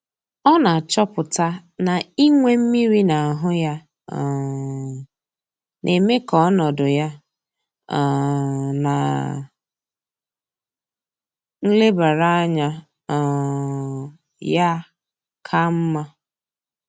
Ọ na-achọpụta na inwe mmiri na ahụ ya, um na-eme ka ọnọdụ ya um na nlebara anya um ya ka mma.